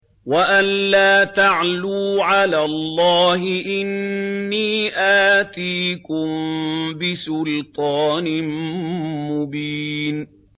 وَأَن لَّا تَعْلُوا عَلَى اللَّهِ ۖ إِنِّي آتِيكُم بِسُلْطَانٍ مُّبِينٍ